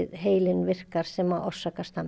heilinn virkar sem orsakar